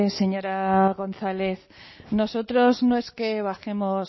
señora gonzález nosotros no es que bajemos